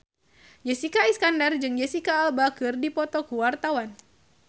Jessica Iskandar jeung Jesicca Alba keur dipoto ku wartawan